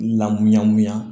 Lamuɲa